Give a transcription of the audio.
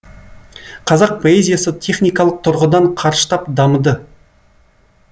қазақ поэзиясы техникалық тұрғыдан қарыштап дамыды